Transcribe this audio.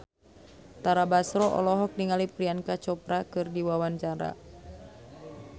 Tara Basro olohok ningali Priyanka Chopra keur diwawancara